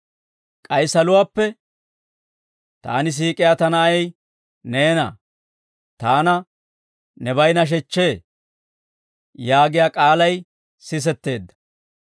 K'ay saluwaappe, «Taani siik'iyaa ta Na'ay neena; taana nebay nashechchee» yaagiyaa k'aalay sisetteedda.